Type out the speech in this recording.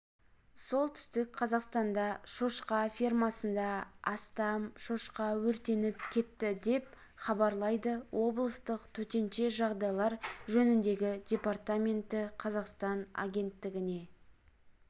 солтүстік қазақстанда шошқа фермасында астам шошқа өртеніп кетті деп хабарлайды облыстық төтенше жағдайлар жөніндегі департаменті қазақстанагенттігіне